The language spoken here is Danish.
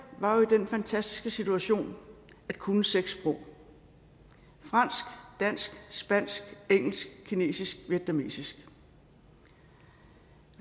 var jo i den fantastiske situation at kunne seks sprog fransk dansk spansk engelsk kinesisk og vietnamesisk